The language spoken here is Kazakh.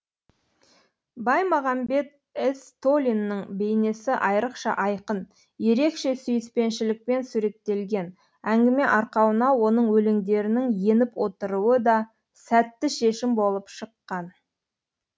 баймағанбет ізтолиннің бейнесі айрықша айқын ерекше сүйіспеншілікпен суреттелген әңгіме арқауына оның өлеңдерінің еніп отыруы да сәтті шешім болып шыққан